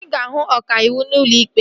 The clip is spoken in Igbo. Ị ga-ahụ ọkàiwu n'ụlọ ikpe